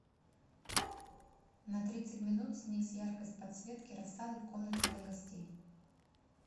на тридцать минут снизь яркость подсветки рассады в комнате для гостей